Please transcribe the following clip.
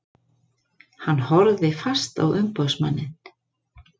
Hann horfði fast á umboðsmanninn.